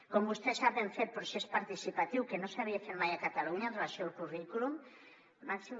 com vostè sap hem fet un procés participatiu que no s’havia fet mai a catalunya amb relació al currículum màxim